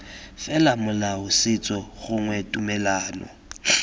fela molao setso gongwe tumelano